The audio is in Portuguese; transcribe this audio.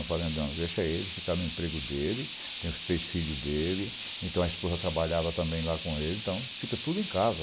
Eu falei, não, deixa ele ficar no emprego dele, tem os três filhos dele, então a esposa trabalhava também lá com ele, então fica tudo em casa.